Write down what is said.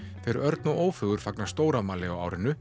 þeir Örn og Ófeigur fagna stórafmæli á árinu